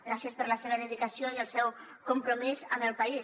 gràcies per la seva dedicació i el seu compromís amb el país